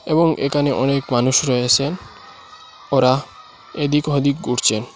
এবং একানে অনেক মানুষ রয়েসেন ওরা এইদিক ওইদিক ঘুরছেন।